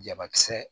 Jabakisɛ